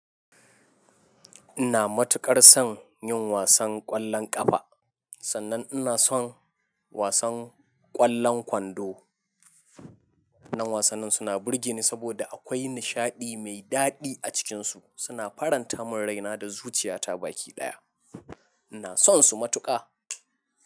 Ina matuƙar son yin wasan ƙwallon ƙafa, sannan ina son wasan ƙwallon kwando. Wannan wasannin suna burge ni saboda akwai nishaɗi mai daɗi a cikinsu. Suna faranta min raina da zuciyata baki ɗaya. Ina sonsu matuƙa.